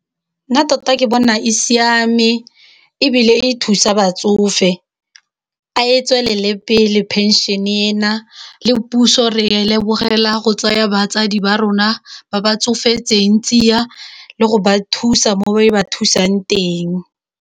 Nna tota ke bona e siame e bile e thusa batsofe a e tswelele pele phenšene ena, le puso re a e lebogela go tsaya batsadi ba rona ba ba tsofetseng tsia le go ba thusa mo ba e ba thusang teng.